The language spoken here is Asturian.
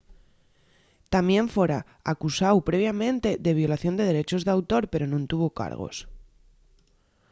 tamién fora acusáu previamente de violación de derechos d'autor pero nun tuvo cargos